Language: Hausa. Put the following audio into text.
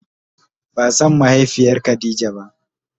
Ba san mahaifiyar khadija ba.